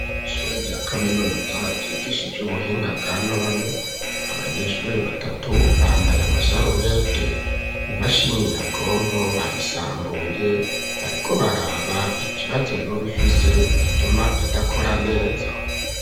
Ishure rya kaminuza ryigisha ivy'ubuhinga bwa none, abanyeshure batatu bambaye amasarubete imashini nyabwonko bayisambuye bariko baraba ikibazo yoba ifise gituma idakora neza.